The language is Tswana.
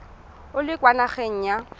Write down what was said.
o le kwa nageng ya